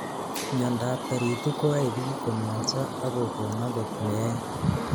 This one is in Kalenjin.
Myondab taritik koae bik komyansa ak kokon angot meet